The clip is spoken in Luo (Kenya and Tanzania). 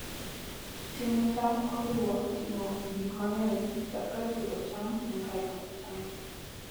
Timo cham oriwo timo gik mang'eny chakre e pidho cham nyaka e loso cham.